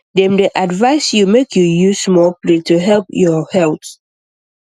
dem dey advise you make you use small plate to help your health